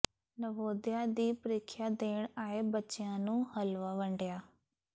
ਨਵੋਦਿਆ ਦੀ ਪ੍ਰੀਖਿਆ ਦੇਣ ਆਏ ਬੱਚਿਆਂ ਨੂੰ ਹਲਵਾ ਵੰਡਿਆ